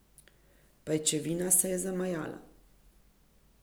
Pajčevina se je zamajala.